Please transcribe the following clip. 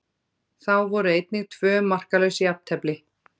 Þá voru einnig tvö markalaus jafntefli.